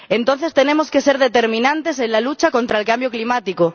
Entonces tenemos que ser determinantes en la lucha contra el cambio climático.